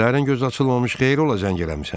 Səhərdən göz açılmamış xeyir ola zəng eləmisən.